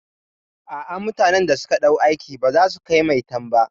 A'a, mutanan da zamu ɗauka aiki baza su kai maitan ba.